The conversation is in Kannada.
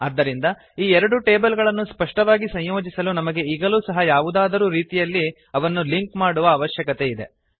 ಆದ್ದರಿಂದ ಈ ಎರಡು ಟೇಬಲ್ ಗಳನ್ನು ಸ್ಪಷ್ಟವಾಗಿ ಸಂಯೋಜಿಸಲು ನಮಗೆ ಈಗಲೂ ಸಹ ಯಾವುದಾದರೂ ರೀತಿಯಲ್ಲಿ ಅವನ್ನು ಲಿಂಕ್ ಮಾಡುವ ಅವಶ್ಯಕತೆ ಇದೆ